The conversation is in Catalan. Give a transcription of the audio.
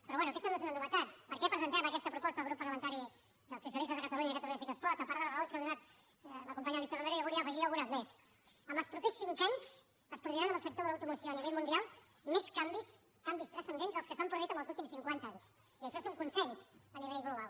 però bé aquesta no és una novetat per què presentem aquesta proposta el grup parlamentari dels socialistes de catalunya i catalunya sí que es pot a part de les raons que ha donat la companya alícia romero jo en volia afegir algunes més en els propers cinc anys es produiran en el sector de l’automoció a nivell mundial més canvis canvis transcendents dels que s’han produït en els últims cinquanta anys i això és un consens a nivell global